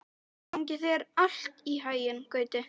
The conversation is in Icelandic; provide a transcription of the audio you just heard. Gangi þér allt í haginn, Gauti.